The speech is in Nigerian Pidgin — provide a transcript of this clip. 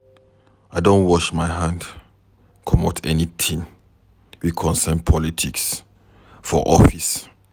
I don wash my hand comot anytin wey concern politics for office.